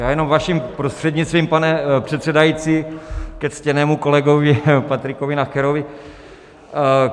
Já jenom vaším prostřednictvím, pane předsedající, ke ctěnému kolegovi Patriku Nacherovi.